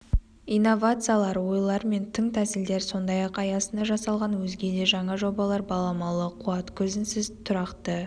инновациялар ойлар мен тың тәсілдер сондай-ақ аясында жасалынған өзге де жаңа жобалар баламалы қуат көзінсіз тұрақты